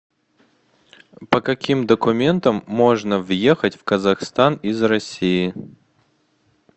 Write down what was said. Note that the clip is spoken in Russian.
по каким документам можно въехать в казахстан из россии